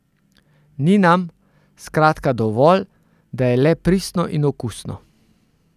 Ni nam, skratka, dovolj, da je le pristno in okusno.